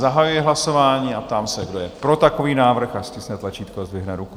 Zahajuji hlasování a ptám se, kdo je pro takový návrh, ať stiskne tlačítko a zdvihne ruku.